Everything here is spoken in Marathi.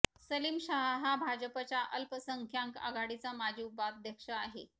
सलीम शहा हा भाजपाच्या अल्पसंख्यांक आघाडीचा माजी उपाध्यक्ष आहे